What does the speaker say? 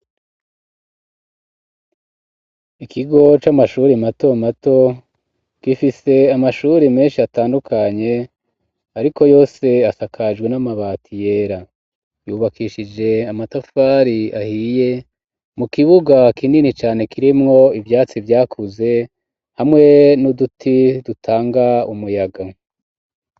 Ikigo c'amashuri mato mato gifise amashuri menshi atandukanye ariko yose asakajwe n'amabati yera yubakishije amatafari ahiye mu kibuga kinini cane kirimwo ivyatsi vyakuze hamwe n'uduti dutanga umuyaga.